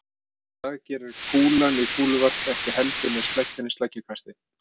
Það gerir kúlan í kúluvarpi ekki heldur né sleggjan í sleggjukasti.